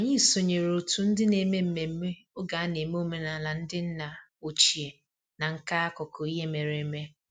Anyị sonyeere otu ndị na-eme mmemme oge a na-eme omenala ndị nna ochie na nka akụkọ ihe mere eme